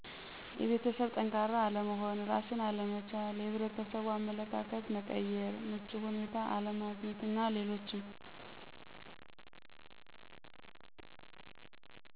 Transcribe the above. የቤተሠብ ጠንካራ አለመሆን፣ እራስን አለመቻል፣ የሕብረተሠቡ አመለካከት መቀየር፣ ምቹ ሁኔታ አለማግኘት አና ሌሎችም